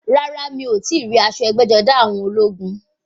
Rárá, mi ò tíì rí aṣọ ẹgbẹ́-jọdá àwọn ológun.